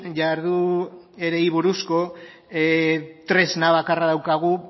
jarduerei buruzko tresna bakarra daukagu